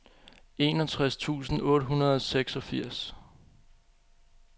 enogtres tusind otte hundrede og seksogfirs